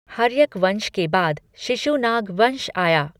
हर्यक वंश के बाद शिशुनाग वंश आया।